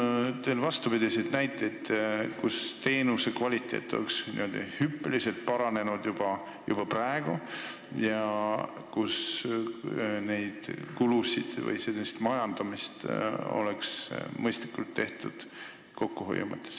Kas teil on vastupidiseid näiteid, kus teenuse kvaliteet on juba praegu hüppeliselt paranenud ja kus on mõistlik majandamine kokkuhoiu mõttes?